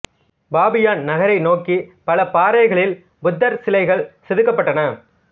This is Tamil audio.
பாமியான் நகரை நோக்கி பல பாறைகளில் புத்தர் சிலைகள் செதுக்கப்பட்டன